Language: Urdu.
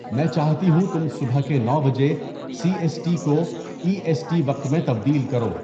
میں چاہتی ہوں تم صبح کے نو بجے سی ایس ٹی کو ای ایس ٹی وقت میں تبدیل کرو